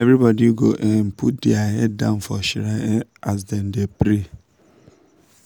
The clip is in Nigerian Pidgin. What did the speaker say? everybody go um put their head down for shrine um as dem dey pray.